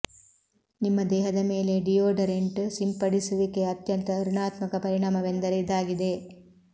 ನಿಮ್ಮ ದೇಹದ ಮೇಲೆ ಡಿಯೋಡರೆಂಟ್ ಸಿಂಪಡಿಸುವಿಕೆಯ ಅತ್ಯಂತ ಋಣಾತ್ಮಕ ಪರಿಣಾಮವೆಂದರೆ ಇದಾಗಿದೆ